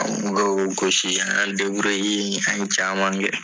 An kun bɛ k'o gosi an an ye caman kɛ.